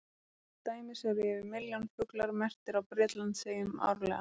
Til dæmis eru yfir milljón fuglar merktir á Bretlandseyjum árlega.